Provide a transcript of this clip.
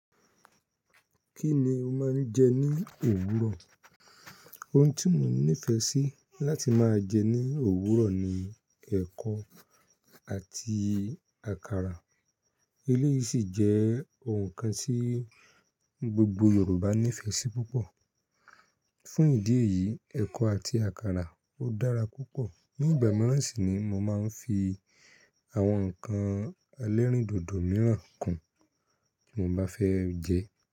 Kí ni o máa ń jẹ ní òwúrọ̀? Ohun tí mo nífẹ̀ẹ́ sí láti máa jẹ ní òwúrọ̀ ni ẹ̀kọ àti àkàrà. Eléyìí sì jẹ́ ohun kan tí gbogbo Yorùbá nífẹ̀ẹ́ sí púpọ̀. Fún ìdí èyí, ẹ̀kọ àti àkàrà ó dára púpọ̀. Ni ìgbà mìíràn sì ni mo máa ń fi àwọn ǹkan elérìndòdò mìíràn kùn tí mo bá fẹ́ jẹ ẹ́.